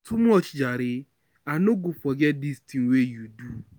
too much jare, I no go forget dis tin wey you do.